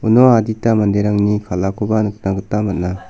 uno adita manderangni kal·akoba nikna gita man·a.